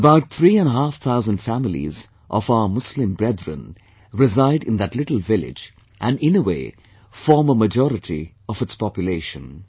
About three and a half thousand families of our Muslim brethren reside in that little village and in a way, form a majority of its population